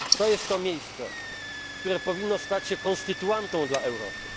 To jest to miejsce, które powinno stać się konstytuantą dla Europy.